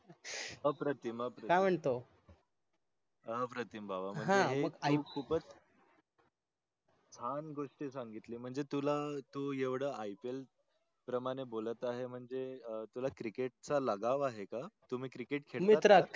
छान घोस्ट सांगितली म्हणजे तुला IPL प्रमाणे बोलत आहे म्हणजे अं तुला cricket चा लगाव आहे आहे का तुम्ही cricket खेडता का